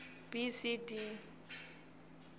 b c d